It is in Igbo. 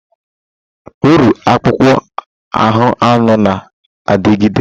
Orụ akpụkpọ ahụ anụ na-adịgide.